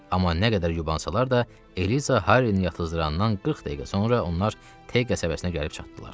Amma nə qədər yubansalar da Eliza Harrini yatızdırandan 40 dəqiqə sonra onlar Te qəsəbəsinə gəlib çatdılar.